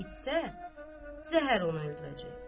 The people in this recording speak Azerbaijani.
İçsə, zəhər onu öldürəcək.